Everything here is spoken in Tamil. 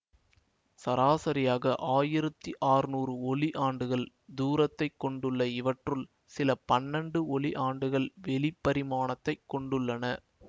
சராசரியாக ஆயிரத்தி ஆற்னூர் நூறு ஒளி ஆண்டுகள் தூரத்தைக் கொண்டுள்ள இவற்றுள் சில பன்னெண்டு ஒளி ஆண்டுகள் வெளி பரிமாணத்தை கொடுக்கின்றன